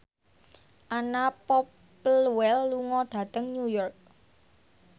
Anna Popplewell lunga dhateng New York